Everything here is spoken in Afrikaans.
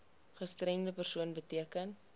gestremde persoon beteken